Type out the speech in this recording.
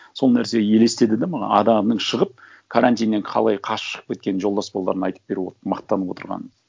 сол нәрсе елестеді да маған адамның шығып карантиннен қалай қашып шығып кеткенін жолдас балаларына айтып беріп отырып мақтанып отырғанын